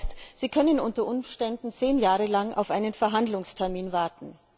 Das heißt, sie können unter Umständen zehn Jahre lang auf einen Verhandlungstermin warten.